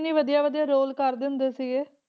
ਕਿੰਨੇ ਵਧੀਆ ਵਧੀਆ ਰੋਲ ਕਰਦੇ ਹੁੰਦੇ ਸੀਗੇ,